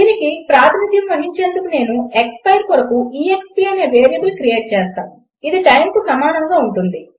దీనికి ప్రాతినిధ్యం వహించేందుకు నేను ఎక్స్పైర్ కొరకు ఎక్స్ప్ అనే వేరియబుల్ క్రియేట్ చేస్తాను ఇది టైమ్కు సమానముగా ఉంటుంది